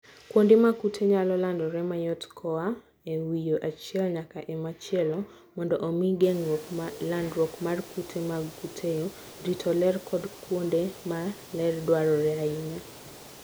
Kuonde ma kute nyalo landore mayot koa e winyo achiel nyaka e machielo. Mondo omi geng'o landruok mar kute mag kutego, rito ler kod kuonde ma ler dwarore ahinya.